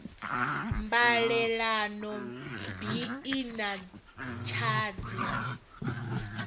mbalelano bi i na tshadzhi